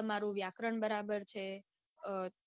તમારું વ્યાકરણ બરાબર છે અઅ